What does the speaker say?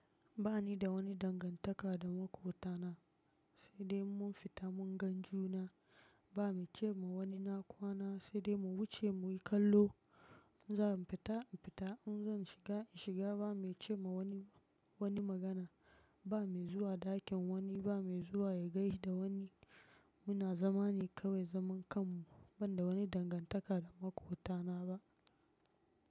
Ba ni da wani dangantaka da makwabtana, sai dai mun fita mun gan juna. Ba mai ce ma wani na kwana, sai dai mu wuce muyi kallo. In zan fita in fita, in zan shiga in shiga ba mai ce ma wani, wani magana. Ba mai zuwa ɗakin wani, ba mai zuwa ya gaishe da wani. Muna zama ne kawai zaman kanmu ban da wani dangantaka da makwabtana ba.